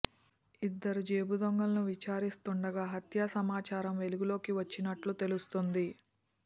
ఇద్దరు జేబు దొంగలను విచారిస్తుండగా హత్య సమాచారం వెలుగులోకి వచ్చినట్లు తెలుస్తోంది